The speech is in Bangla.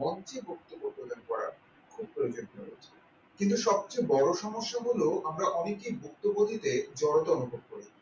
মঞ্চে বক্তব্য প্রদান করা খুব প্রয়োজন হয়েছে কিন্তু সব চেয়ে সমস্যা হলো আমরা অনেকে বক্তব্য দিতে জড়তা অনুভব করি